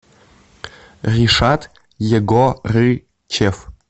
ришат егорычев